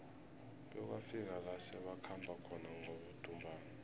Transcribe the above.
bekwafika la sebakhamba khona ngabodumbana